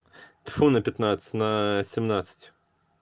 тьфу на пятнадцать на семнадцать